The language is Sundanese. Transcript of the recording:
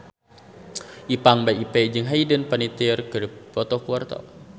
Ipank BIP jeung Hayden Panettiere keur dipoto ku wartawan